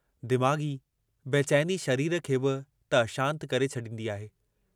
दिमाग़ी बेचैनी शरीर खे बि त अशांत करे छॾींदी आहे।